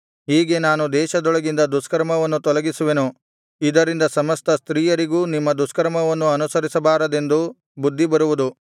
ಹೀಗೆ ನಾನು ದೇಶದೊಳಗಿಂದ ದುಷ್ಕರ್ಮವನ್ನು ತೊಲಗಿಸುವೆನು ಇದರಿಂದ ಸಮಸ್ತ ಸ್ತ್ರೀಯರಿಗೂ ನಿಮ್ಮ ದುಷ್ಕರ್ಮವನ್ನು ಅನುಸರಿಸಬಾರದೆಂದು ಬುದ್ಧಿ ಬರುವುದು